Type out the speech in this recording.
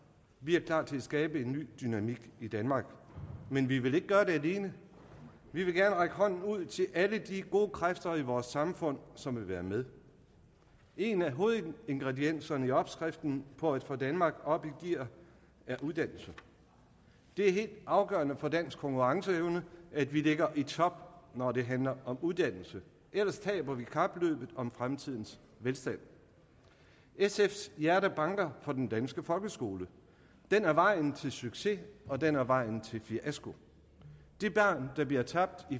vi er klar til at skabe en ny dynamik i danmark men vi vil ikke gøre det alene vi vil gerne række hånden ud til alle de gode kræfter i vores samfund som vil være med en af hovedingredienserne i opskriften på at få danmark op i gear er uddannelse det er helt afgørende for dansk konkurrenceevne at vi ligger i top når det handler om uddannelse ellers taber vi kapløbet om fremtidens velstand sfs hjerte banker for den danske folkeskole den er vejen til succes og den er vejen til fiasko det barn der bliver tabt i